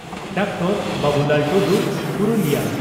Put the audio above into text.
doctor Babulal Tudu (Purulia